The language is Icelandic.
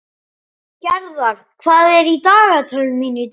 Gerðar, hvað er í dagatalinu mínu í dag?